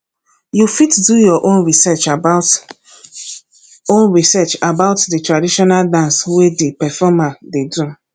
you fit do your own research about own research about di traditional dance wey di performer dey do